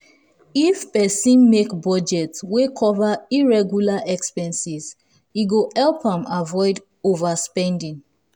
if person make budget wey cover irregular expenses e go help am avoid overspending.